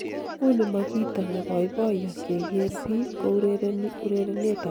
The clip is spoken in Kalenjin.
uni ma kito ne boiboiyo keger biik ko urereni urerenetab chess